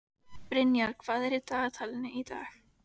Brynjar, hvað er í dagatalinu í dag?